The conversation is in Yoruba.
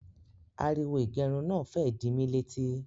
Ariwo ìgẹrun náà fẹ́ ẹ di mí létí